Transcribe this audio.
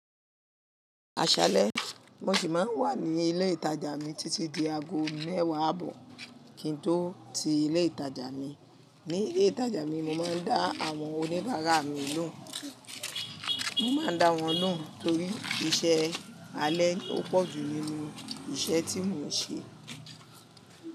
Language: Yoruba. Aṣalẹ, mo ṣì máa ń wà ní ilé ìtajà mi títí di aago mẹ́wàá ààbọ̀ kí n tó ti ilé ìtajà mi. Ni ilé ìtajà mi, mo máa ń dá àwọn oníbàárà mi lóhùn. Mo máa ń dá wọn lóhùn torí iṣẹ́ alẹ́ ó pọ̀jù nínú iṣẹ́ tí mò ń ṣe.